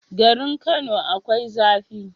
Garin kano akwai zafi